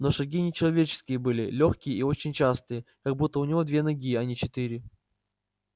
но шаги не человеческие были лёгкие и очень частые как будто у него не две ноги а четыре